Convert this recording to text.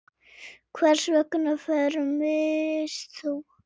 Hvers vegna fermist þú?